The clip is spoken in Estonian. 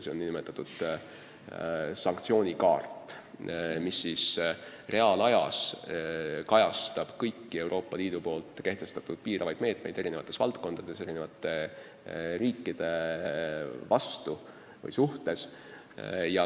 See on nn sanktsioonikaart, mis reaalajas kajastab kõiki Euroopa Liidu kehtestatud piiravaid meetmeid eri valdkondades eri riikide suhtes.